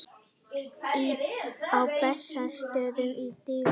Á Bessastöðum er dýflissa.